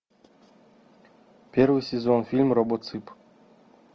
первый сезон фильм робоцып